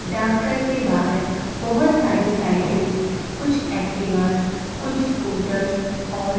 डाकघर के बाहर बहोत सारी साइकिल कुछ एक्टिवा कुछ स्कूटर्स और--